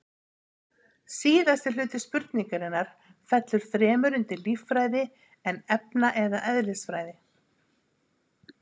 Síðasti hluti spurningarinnar fellur fremur undir líffræði en efna- eða eðlisfræði.